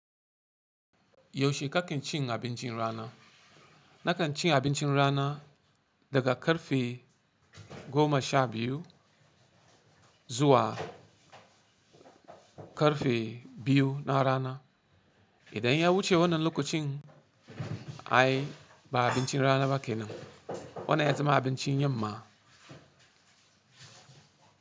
Yaushe kake cin abincin rana? Nakan ci abincin rana, daga karfe goma sha biyu, zuwa karfe biyu na rana. Idan ya wuce wannan lokacin, ai ba abincin rana ba ke nan, wannan ya zama abincin yamma.